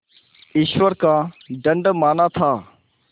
ईश्वर का दंड माना था